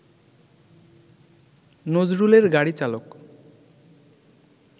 নজরুলের গাড়িচালক